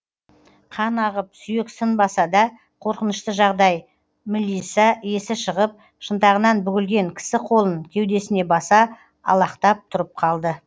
қан ағып сүйек сынбаса да қорқынышты жағдай мілиса есі шығып шынтағынан бүгілген кісі қолын кеудесіне баса алақтап тұрып қалды